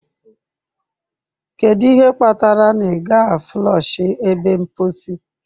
Kedu ihe kpatara na ị gaghị a flọshị ebe mposi?